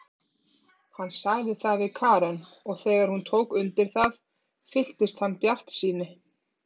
Hann sagði það við Karen og þegar hún tók undir það fylltist hann bjartsýni.